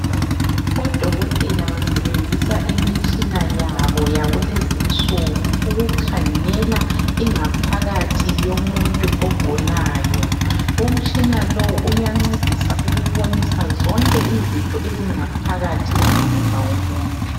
Odokotela basebenzisa imitshina yabo yakulezinsuku ukukhangela ingaphakathi yomuntu ogulayo. Umtshina lowu uyancedisa ukubonisa zonke izitho ezingaphakathi komzimba womuntu.